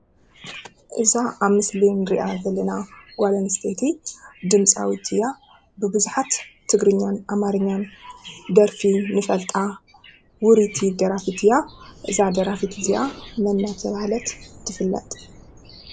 እዛ አብ ምስሊ እንሪአ ዘለና ጓል አንስተይቲ ድምፃዊት እያ ብቡዛሓት ትግርኛን አማርኛን ደራፊ ንፈልጣ ውሪይቲ ደራፊት እያ። እዛ ደራፊት እዚአ መን እናተባህለት ትፍለጥ?